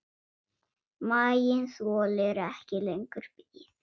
Maginn þolir ekki lengur bið.